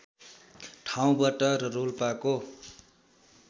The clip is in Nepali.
ठाउँबाट र रोल्पाको